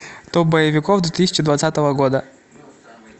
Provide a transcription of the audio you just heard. топ боевиков две тысячи двадцатого года